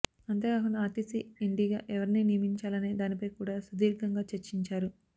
అంతేకాకుండా ఆర్టీసీ ఎండీగా ఎవరిని నియమించాలనే దానిపై కూడా సుదీర్ఘంగా చర్చించారు